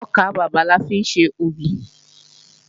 Ọkàbàbà la fi ń ṣe ògì